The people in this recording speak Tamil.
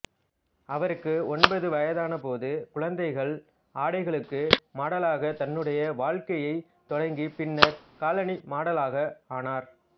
அவருக்கு ஒன்பது வயதான போது குழந்தைகள் ஆடைகளுக்கு மாடலாக தன்னுடைய வாழ்க்கையைத் தொடங்கிப் பின்னர் காலணி மாடலாக ஆனார்